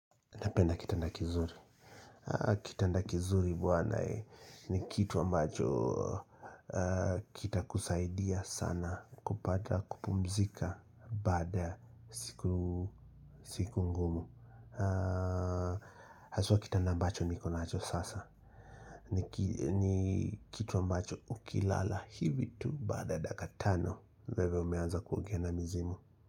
Napenda kitanda kizuri. Kitanda kizuri buwana ni kituwa mbacho kita kusaidia sana kupata kupumzika baada siku ngumu. Haswa kitanda mbacho niko nacho sasa. Ni kitu ambacho ukilala hivi tu baada dakika tano. Wewe umeanza kuongea na mizimu.